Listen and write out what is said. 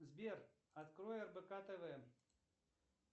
сбер открой рбк тв